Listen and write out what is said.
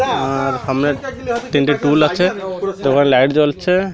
আর সামনে তিনটে টুল আছে তারপরে লাইট জ্বলছে।